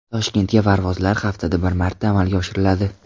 Toshkentga parvozlar haftada bir marta amalga oshiriladi.